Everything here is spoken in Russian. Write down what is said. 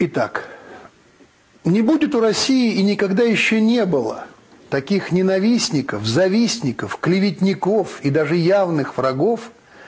итак не будет у россии и никогда ещё не было таких ненавистников завистников клеветников и даже явных врагов